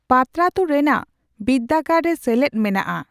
ᱯᱟᱛᱨᱟᱛᱩ ᱨᱮᱱᱟᱜ ᱵᱤᱨᱫᱟᱹᱜᱟᱲ ᱨᱮ ᱥᱮᱞᱮᱫ᱾ᱢᱮᱱᱟᱜᱼᱟ